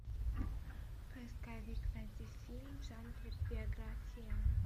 поисковик найди фильм в жанре биография